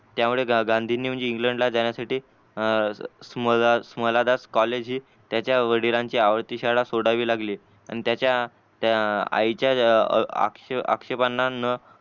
त्यामुळे गांधींनी इंग्लंड ला जान्या साठी अं कॉलेज त्याच्या वडिलांची आवडती शाळा सोडावी लागली अन त्याच्या आईच्या अक्षपान्ना